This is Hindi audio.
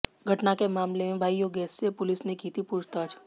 घटना के मामले में भाई योगेश से पुलिस ने की थी पूछताछ